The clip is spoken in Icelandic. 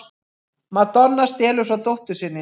Madonna stelur frá dóttur sinni